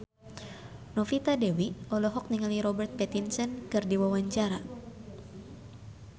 Novita Dewi olohok ningali Robert Pattinson keur diwawancara